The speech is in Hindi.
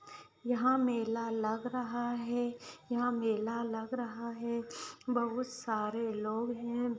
यहाँ मेला लग रहा है यहाँ मेला लग रहा है। बहुत सारे लोग हैं।